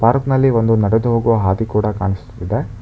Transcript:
Park ನಲ್ಲಿ ನಡೆದು ಹೋಗುವ ಒಂದು ದಾರಿ ಕಾಣಿಸ್ತಾ ಇದೆ.